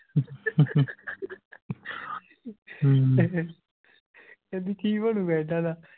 ਕਹਿੰਦੀ ਕਿ ਬਣੂਗਾ ਇਹਨਾਂ ਦਾ